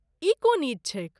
ई कोन ईद छैक?